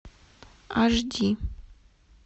аш ди